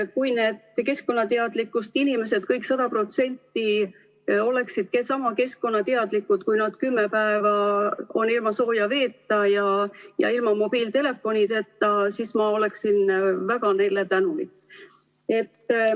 Kui need keskkonnateadlikud inimesed, kõik sada protsenti, oleksid sama keskkonnateadlikud, kui nad peaksid olema kümme päeva ilma sooja veeta ja ilma mobiiltelefonita, siis ma oleksin neile väga tänulik.